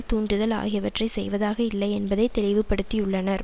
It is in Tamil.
தூண்டுதல் ஆகியவற்றை செய்வதாக இல்லை என்பதை தெளிவு படுத்தியுள்ளனர்